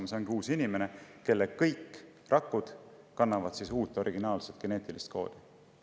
See ongi uus inimene, kelle kõik rakud kannavad uut, originaalset geneetilist koodi.